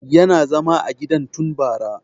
Yana zama a gidan tun bara